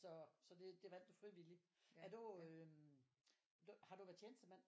Så så det det rigtig frivillig. Er du øh har du været tjenestemand?